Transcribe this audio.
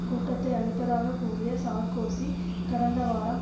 கூட்டத்தை அழைப்பதாகக் கூறிய சார்க்கோசி கடந்த வாரம்